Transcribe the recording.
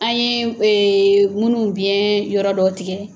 An ye munnu biɲɛ yɔrɔ dɔ tigɛ